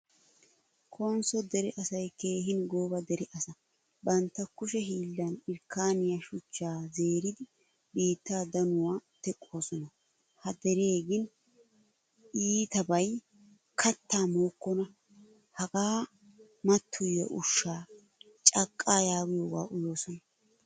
Konso dere asay keehin gooba dere asa. Bantta kushe hiilan irkkaniyaa shuchcha zeeridi biitta danuwaa teqqosona. Ha dere gin iittiyabay katta mookona Haga matoyiya ushshaa caqqa yaagiyoga uyoosona.